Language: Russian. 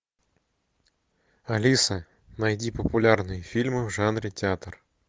алиса найди популярные фильмы в жанре театр